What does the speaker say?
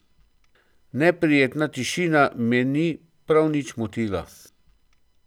Neprijetna tišina me ni prav nič motila.